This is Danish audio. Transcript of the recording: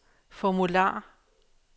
formular